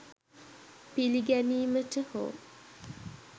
පිළිගැනීමට හෝ